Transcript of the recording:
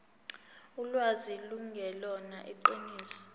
ulwazi lungelona iqiniso